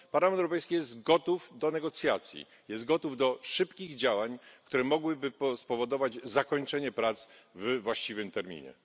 Parlament Europejski jest gotów do negocjacji, jest gotów do szybkich działań, które mogłyby spowodować zakończenie prac we właściwym terminie.